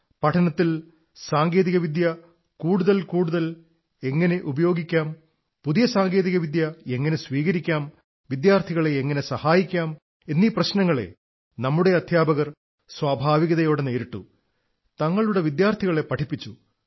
പഠനത്തിൽ സാങ്കേതിക വിദ്യ കൂടുതൽ കൂടുതൽ എങ്ങനെ ഉപയോഗിക്കാം പുതിയ സാങ്കേതിക വിദ്യ എങ്ങനെ സ്വീകരിക്കാം വിദ്യാർഥികളെ എങ്ങനെ സഹായിക്കാം എന്ന പ്രശ്നങ്ങളെ നമ്മുടെ അധ്യാപകർ സ്വാഭാവികതയോടെ നേരിട്ടു തങ്ങളുടെ വിദ്യാർഥികളെ പഠിപ്പിച്ചു